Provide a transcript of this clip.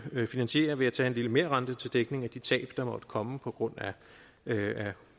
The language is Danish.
jo finansiere ved at tage en lille merrente til dækning af de tab der måtte komme på grund af